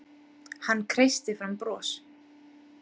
Hann kreisti fram bros.